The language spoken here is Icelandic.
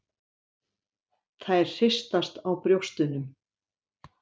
Þær hristast á brjóstunum.